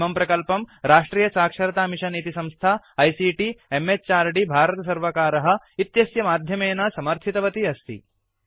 इमं प्रकल्पं राष्ट्रियसाक्षरतामिषन् इति संस्था आईसीटी म्हृद् भारतसर्वकार इत्यस्य माध्यमेन समर्थितवती अस्ति